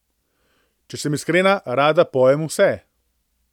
Če sem iskrena, rada pojem vse.